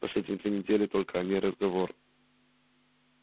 последние две недели только о ней и разговор